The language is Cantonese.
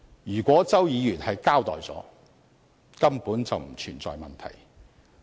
如果周議員交代了，根本便不存在問題。